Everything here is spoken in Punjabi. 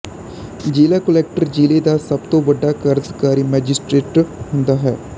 ਜ਼ਿਲ੍ਹਾ ਕੁਲੈਕਟਰ ਜ਼ਿਲ੍ਹੇ ਦਾ ਸਭ ਤੋਂ ਵੱਡਾ ਕਾਰਜਕਾਰੀ ਮੈਜਿਸਟਰੇਟ ਹੁੰਦਾ ਹੈ